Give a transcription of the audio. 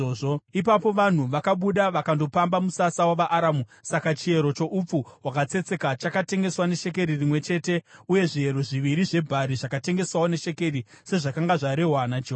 Ipapo vanhu vakabuda vakandopamba musasa wavaAramu. Saka chiyero choupfu hwakatsetseka chakatengeswa neshekeri rimwe chete uye zviyero zviviri zvebhari zvakatengeswawo neshekeri, sezvakanga zvarehwa naJehovha.